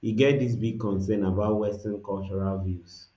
e get dis big concern about western cultural views